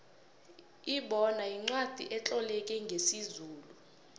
ibona yincwacli etloleke ngesizulu